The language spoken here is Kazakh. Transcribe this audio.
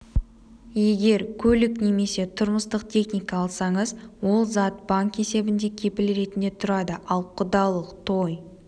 егер көлік немесе тұрмыстық техника алсаңыз ол зат банк есебінде кепіл ретінде тұрады ал құдалық той